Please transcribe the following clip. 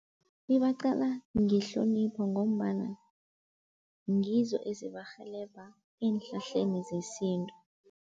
Ibaqala ngehlonipho ngombana ngizo ezibarhelebha eenhlahleni zesintu.